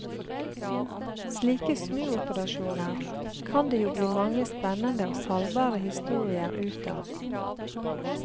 Slike snuoperasjoner kan det jo bli mange spennende og salgbare historier ut av.